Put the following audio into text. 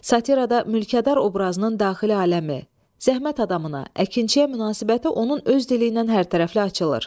Satirada mülkədar obrazının daxili aləmi, zəhmət adamına, əkinçiyə münasibəti onun öz dili ilə hərtərəfli açılır.